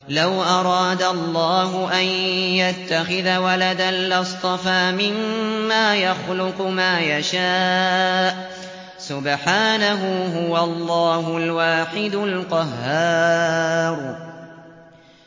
لَّوْ أَرَادَ اللَّهُ أَن يَتَّخِذَ وَلَدًا لَّاصْطَفَىٰ مِمَّا يَخْلُقُ مَا يَشَاءُ ۚ سُبْحَانَهُ ۖ هُوَ اللَّهُ الْوَاحِدُ الْقَهَّارُ